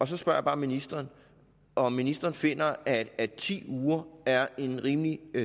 så spørger jeg bare ministeren om ministeren finder at at ti uger er en rimelig